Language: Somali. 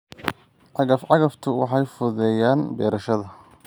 Cagaf-cagaftu waxay fududeeyaan beerashada.